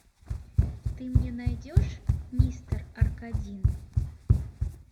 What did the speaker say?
ты мне найдешь мистер аркадин